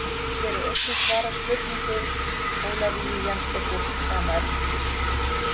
Hér er einnig svarað spurningu Ólafíu Jensdóttur sama efnis.